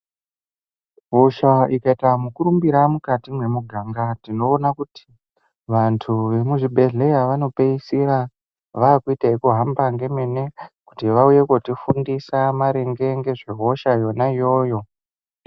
Hosha ikaita mukurumbira mukati mwemuganga tinoona kuti vantu vemuzvibhedhlera vaopeisira vakuita zvekuhamba ngemene kuti vauye kotifundisa maringe ngezvehosha yona iyoyo.